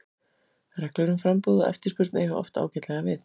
Reglur um framboð og eftirspurn eiga oft ágætlega við.